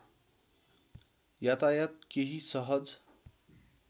यातायात केही सहज